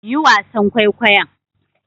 Yi wasan kwaikwayon.